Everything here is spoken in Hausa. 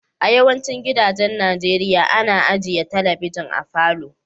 A yawacin gidajen Nijeriya, ana ajia telibijin a falo.